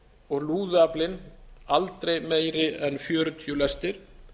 og lúðuaflinn aldrei meiri en fjörutíu lestir